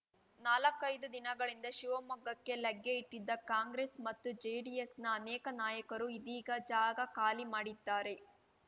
ನಾಲ್ಕೈದು ದಿನಗಳಿಂದ ಶಿವಮೊಗ್ಗಕ್ಕೆ ಲಗ್ಗೆಯಿಟ್ಟಿದ್ದ ಕಾಂಗ್ರೆಸ್‌ ಮತ್ತು ಜೆಡಿಎಸ್‌ನ ಅನೇಕ ನಾಯಕರು ಇದೀಗ ಜಾಗ ಖಾಲಿ ಮಾಡಿದ್ದಾರೆ